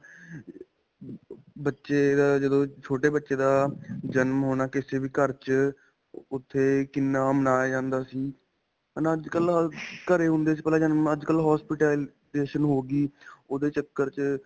ਬੱਚੇ ਦਾ ਅਅ ਜਦੋਂ ਛੋਟੇ ਬੱਚੇ ਦਾ ਅਅ ਜਨਮ ਹੋਣਾ ਕਿਸੇ ਵੀ ਘਰ 'ਚ ਉੱਥੇ ਕਿੰਨਾ ਮਨਾਇਆ ਜਾਂਦਾ ਸੀ. ਹੈ ਨਾ. ਅੱਜਕਲ੍ਹ ਹਰ ਘਰ ਹੁੰਦੇ ਸੀ ਅੱਜਕਲ੍ਹ ਹੋ ਗਈ ਓਦੇ ਚਕਰ 'ਚ.